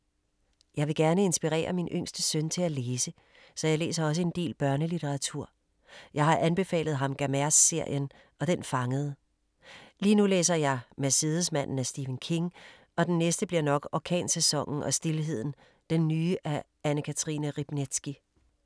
Jeg vil gerne inspirere min yngste søn til at læse, så jeg læser også en del børnelitteratur. Jeg har anbefalet ham Gamerz-serien og den fangede. Lige nu læser jeg Mercedesmanden af Stephen King og den næste bliver nok Orkansæsonen og stilheden, den nye af Anne-Cathrine Riebnitzsky.